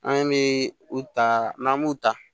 An bɛ u ta n'an m'u ta